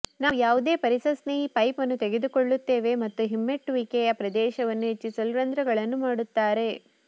ನಾವು ಯಾವುದೇ ಪರಿಸರ ಸ್ನೇಹಿ ಪೈಪ್ ಅನ್ನು ತೆಗೆದುಕೊಳ್ಳುತ್ತೇವೆ ಮತ್ತು ಹಿಮ್ಮೆಟ್ಟುವಿಕೆಯ ಪ್ರದೇಶವನ್ನು ಹೆಚ್ಚಿಸಲು ರಂಧ್ರಗಳನ್ನು ಮಾಡುತ್ತಾರೆ